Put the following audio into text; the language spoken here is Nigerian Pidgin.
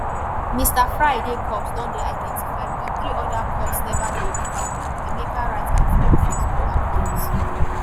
"mr friday corpse don dey identified but three other corpses neva dey found" emeka write for im facebook account.